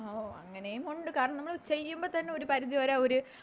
ഓ അങ്ങനെയും ഒണ്ട് കാരണം നമ്മള് ചെയ്യുമ്പത്തന്നെ ഒരു പരിധി വരെ അവര്